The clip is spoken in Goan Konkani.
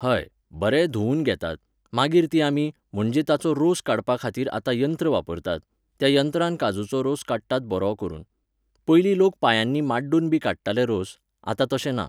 हय, बरें धूवन घेतात, मागीर ती आमी, म्हणजे ताचो रोस काडपाखातीर आतां यंत्र वापरतात, त्या यंत्रान काजुचो रोस काडटात बरो करून. पयलीं लोक पांयांनी माड्डूनबी काडटाले रोस, आतां तशें ना